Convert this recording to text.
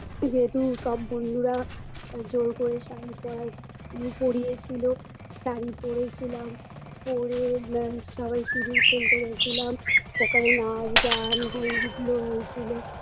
যেহেতু সব বন্ধুরা আ জোর করে শাড়ি পরা পরিয়ে ছিল ,শাড়ি পরেছিলাম পরে ম সবাই সিঁদুর খেলতে গেছিলাম ওখানে নাচ গান হই হুল্লোড় হয়েছিল